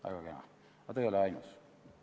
Väga kena, aga ta ei ole ainus.